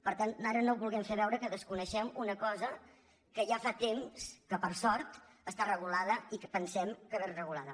per tant ara no vulguem fer veure que desconeixem una cosa que ja fa temps que per sort està regulada i pensem que ben regulada